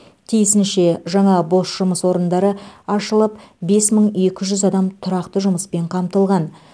тиісінше жаңа бос жұмыс орындары ашылып бес мың екі жүз адам тұрақты жұмыспен қамтылған